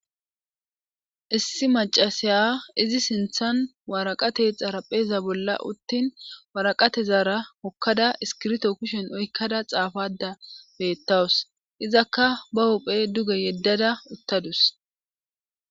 Issi macasiya izi sinthan waaraqate xarapheeza bolla uttin waraqate zaara hokkada iskirto kushen oykkada xaafada beettawus izakka ba huphe duge yeddada uttadus.